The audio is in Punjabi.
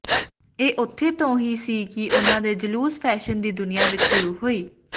ਇਹ ਉੱਥੇ ਤੋਂ ਹੀ ਸੀ ਕਿ ਉਨ੍ਹਾਂ ਦੇ ਜਲੂਸ ਫੈਸ਼ਨ ਦੀ ਦੁਨੀਆਂ ਵਿਚ ਸ਼ੁਰੂ ਹੋਈ